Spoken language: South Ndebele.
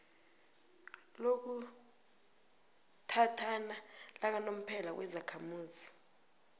lokuthathana lakanomphela nezakhamuzi